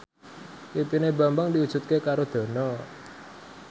impine Bambang diwujudke karo Dono